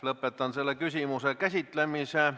Lõpetan selle küsimuse käsitlemise.